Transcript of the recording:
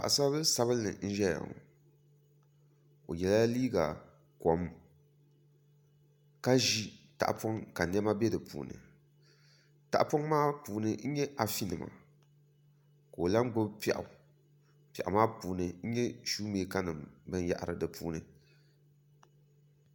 Paɣasaribili sabinli n ʒɛya ŋo o yɛla liiga kom ka ʒi tahapoŋ ka niɛma bɛ di puuni tahapoŋ maa puuni n nyɛ afi nima ka o lahi gbubi piɛɣu piɛɣu maa puuni n nyɛ shuu mɛka nim binyahari di puuni